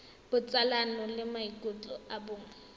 botsalano le maikutlo a bong